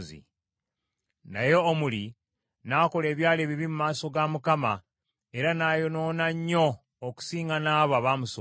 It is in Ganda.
Naye Omuli n’akola ebyali ebibi mu maaso ga Mukama , era n’ayonoona nnyo okusinga n’abo abaamusooka.